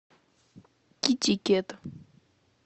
китикет